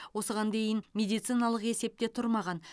осыған дейін медициналық есепте тұрмаған